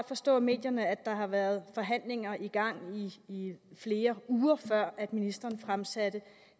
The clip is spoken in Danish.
forstå af medierne at der åbenbart har været forhandlinger i gang i flere uger før ministeren fremsatte